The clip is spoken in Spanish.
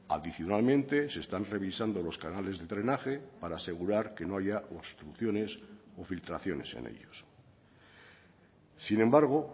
adicionalmente se están revisando los canales de drenaje para asegurar que no haya obstrucciones o filtraciones en ellos sin embargo